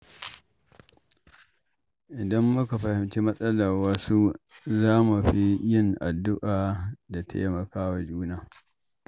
Idan muka fahimci matsalar wasu, za mu fi yin addu’a da taimakawa juna.